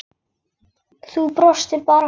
Þú brosir bara!